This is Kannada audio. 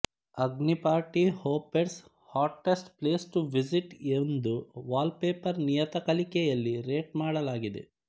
ಅಗ್ನಿ party hoppers hottest place to visit ಎಂದು ವಾಲ್ ಪೇಪರ್ ನಿಯತಕಾಲಿಕೆಯಲ್ಲಿ ರೇಟ್ ಮಾಡಲಾಗಿದೆ